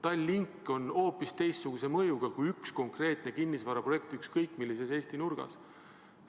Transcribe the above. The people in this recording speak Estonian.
Tallink on hoopis teistsuguse mõjuga kui ükskõik milline konkreetne kinnisvaraprojekt ükskõik millises Eesti nurgas.